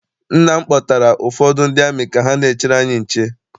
Nna m kpọtara ụfọdụ ndị amị ka ha n'echere anyị nche.